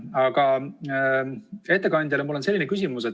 Aga ettekandjale on mul selline küsimus.